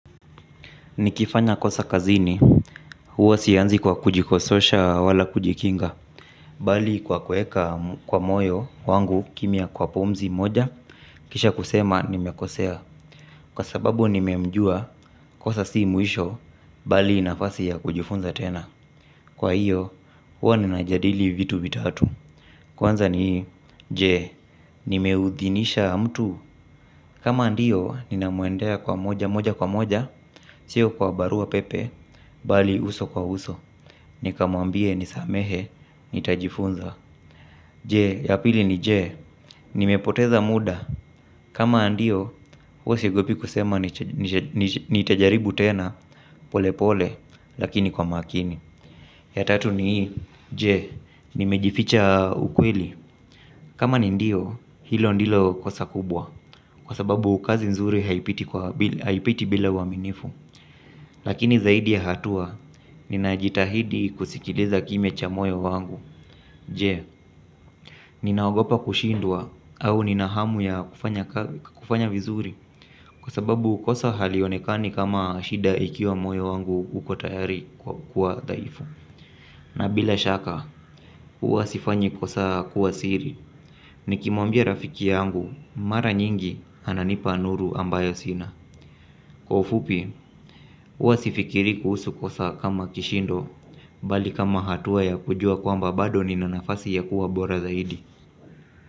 Nikifanya kosa kazini, huwa sianzi kwa kujikososha wala kujikinga. Bali kwa kuweka kwa moyo wangu kimya kwa pumzi moja, kisha kusema nimekosea. Kwa sababu nimemjua kosa si mwisho, bali ni nafasi ya kujifunza tena. Kwa hiyo, huwa ninajadili vitu vitatu. Kwanza ni, je, nimeudhinisha mtu? Kama ndiyo, ninamuendea moja kwa moja. Sio kwa barua pepe, bali uso kwa uso, nikamuambie nisamehe, nitajifunza. Je, ya pili ni je, nimepoteza muda? Kama ndio, huwa siogopi kusema. Nitajaribu tena polepole, lakini kwa makini. Ya tatu ni je, nimejificha ukweli? Kama ni ndio, hilo ndilo kosa kubwa, kwa sababu kazi nzuri haipiti bila uaminifu. Lakini zaidi ya hatua, ninajitahidi kusikiliza kimya cha moyo wangu. Je, ninaogopa kushindwa au nina hamu ya kufanya vizuri? Kwa sababu kosa halionekani kama shida ikiwa moyo wangu uko tayari kwa kuwa dhaifu. Na bila shaka, huwa sifanyi kosa kuwa siri. Nikimwambia rafiki yangu, mara nyingi ananipa nuru ambayo sina. Kwa ufupi, huwa sifikiri kuhusu kosa kama kishindo bali kama hatua ya kujua kwamba bado nina nafasi ya kuwa bora zaidi.